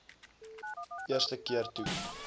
eerste keer toe